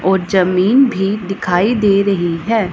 और जमीन भी दिखाई दे रही है।